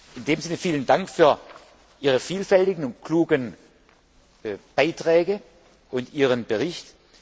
In diesem Sinne vielen Dank für Ihre vielfältigen und klugen Beiträge und Ihren Bericht.